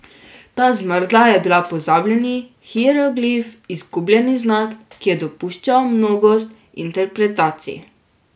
Ta zmrda je bila pozabljeni hieroglif, izgubljeni znak, ki je dopuščal mnogost interpretacij.